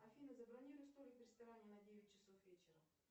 афина забронируй столик в ресторане на девять часов вечера